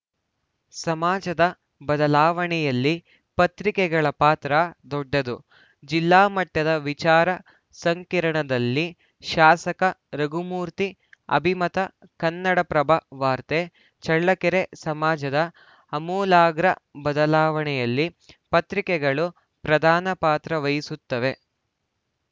ಸಮಾಜದ ಬದಲಾವಣೆಯಲ್ಲಿ ಪತ್ರಿಕೆಗಳ ಪಾತ್ರ ದೊಡ್ಡದು ಜಿಲ್ಲಾ ಮಟ್ಟದ ವಿಚಾರ ಸಂಕಿರಣದಲ್ಲಿ ಶಾಸಕ ರಘುಮೂರ್ತಿ ಅಭಿಮತ ಕನ್ನಡಪ್ರಭ ವಾರ್ತೆ ಚಳ್ಳಕೆರೆ ಸಮಾಜದ ಅಮೂಲಾಗ್ರ ಬದಲಾವಣೆಯಲ್ಲಿ ಪತ್ರಿಕೆಗಳು ಪ್ರಧಾನ ಪಾತ್ರವಹಿಸುತ್ತವೆ